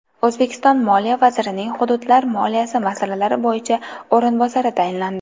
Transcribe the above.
O‘zbekiston Moliya vazirining Hududlar moliyasi masalalari bo‘yicha o‘rinbosari tayinlandi.